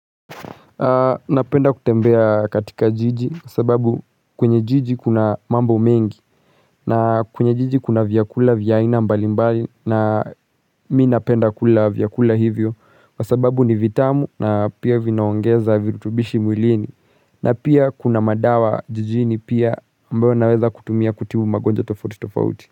Napenda kutembea katika jiji, sababu kwenye jiji kuna mambo mengi, na kwenye jiji kuna vyakula vya aina mbali mbali, na mi napenda kula vyakula hivyo, kwa sababu ni vitamu, na pia vinaongeza virutubishi mwilini, na pia kuna madawa jijini pia ambayo naweza kutumia kutibu magonjwa tofauti tofauti.